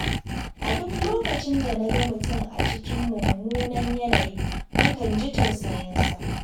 A duk lokacin da na ga mutum a cikin mummunan yanayin, nakan ji tausayinsa.